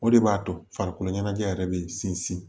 O de b'a to farikolo ɲɛnajɛ yɛrɛ bɛ sinsin